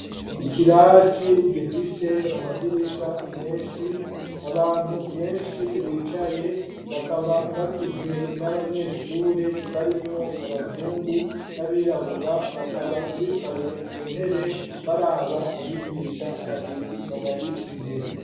Ikirasi gifise amadirisha menshi, abantu benshi bicaye, bakaba bagizwe n'abanyeshure, barimwo abazungu n'abirabura; bakaba bicaye ku ntebe, baraba abigisha babiri, babari imbere.